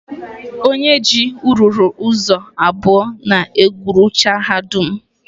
Onye ji ruuru ụzọ abụọ na-egwurucha ha dum.